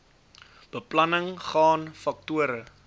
beplanning gaan faktore